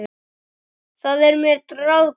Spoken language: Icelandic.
Það er mér ráðgáta